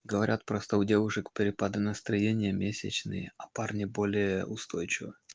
говорят просто у девушек перепады настроения месячные а парни более устойчивы